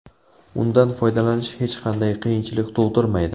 Undan foydalanish hech qanday qiyinchilik tug‘dirmaydi.